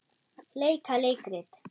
Leika leikrit